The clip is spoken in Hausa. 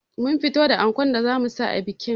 Mun fitar da ankon da zamu sa a bikin